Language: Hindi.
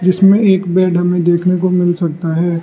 इसमें एक बेड हमें देखने को मिल सकता है।